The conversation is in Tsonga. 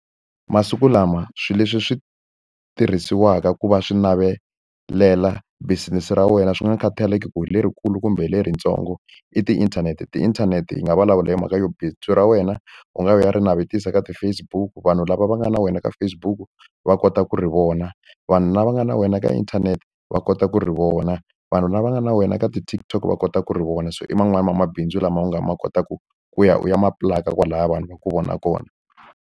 Masiku lama swilo leswi swi tirhisiwaka ku va swi navelela business ra wena swi nga khataleki ku hi lerikulu kumbe leritsongo, i tiinthanete. Tiinthanete yi nga vulavula hi mhaka yo bindzu ra wena u nga ya u ya ri navetisa eka ti-Facebook, vanhu lava va nga na wena ka Facebook va kota ku ri vona, vanhu lava nga na wena ka inthanete va kota ku ri vona, vanhu lava nga na wena ka ti-TikTok va kota ku ri vona. So i man'wani ya mabindzu lama nga ma kotaka ku ya u ya ma pulaka kwalahaya vanhu va ku vona kona.